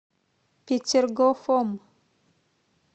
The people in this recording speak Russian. петергофом